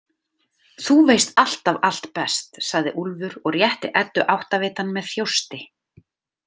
Þú veist alltaf allt best, sagði Úlfur og rétti Eddu áttavitann með þjósti.